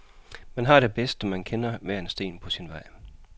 Han har det bedst, når han kender hver en sten på sin vej.